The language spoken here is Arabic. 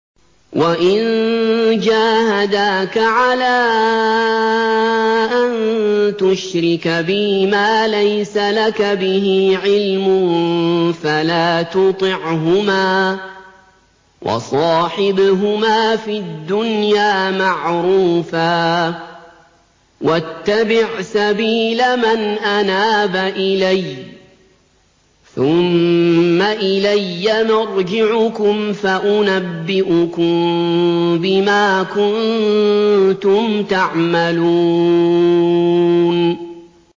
وَإِن جَاهَدَاكَ عَلَىٰ أَن تُشْرِكَ بِي مَا لَيْسَ لَكَ بِهِ عِلْمٌ فَلَا تُطِعْهُمَا ۖ وَصَاحِبْهُمَا فِي الدُّنْيَا مَعْرُوفًا ۖ وَاتَّبِعْ سَبِيلَ مَنْ أَنَابَ إِلَيَّ ۚ ثُمَّ إِلَيَّ مَرْجِعُكُمْ فَأُنَبِّئُكُم بِمَا كُنتُمْ تَعْمَلُونَ